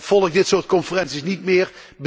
Volg dit soort conferenties niet meer.